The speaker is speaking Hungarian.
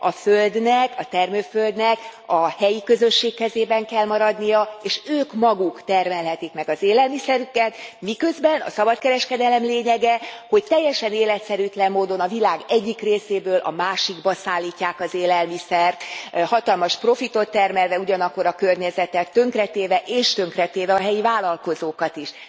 A földnek, a termőföldnek a helyi közösség kezében kell maradnia, és ők maguk termelhetik meg az élelmiszerüket, miközben a szabadkereskedelem lényege, hogy teljesen életszerűtlen módon a világ egyik részéből a másikba szállítják az élelmiszert hatalmas profitot termelve, ugyanakkor a környezetet tönkretéve és tönkretéve a helyi vállalkozókat is.